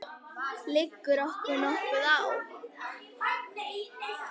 Liggur okkur nokkuð á?